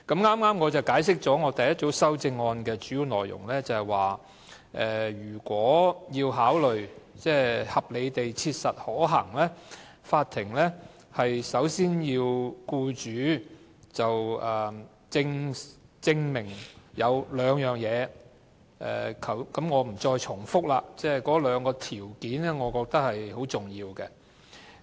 我剛才解釋了我第一組修正案的主要內容，便是如果要考慮復職是否合理地切實可行，法庭首先要僱主證明兩件事，我不重複了，但我覺得兩個條件均十分重要。